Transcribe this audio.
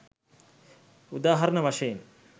උදාහරණ වශයෙන්